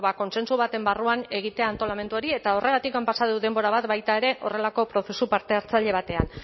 kontsentsu baten barruan egitea antolamendu hori eta horregatik pasa dut denbora bat baita ere horrelako prozesu parte hartzaile batean